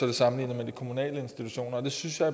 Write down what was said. det sammenlignet med de kommunale institutioner det synes jeg